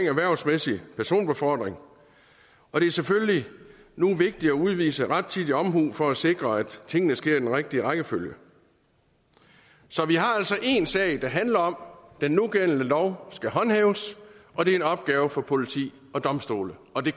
erhvervsmæssig personbefordring og det er selvfølgelig nu vigtigt at udvise rettidig omhu for at sikre at tingene sker i den rigtige rækkefølge så vi har altså én sag der handler om den nugældende lov skal håndhæves og det er en opgave for politi og domstole og det